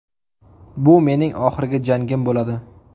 Bu mening oxirgi jangim bo‘ladi.